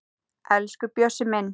Elsku Bjössi minn.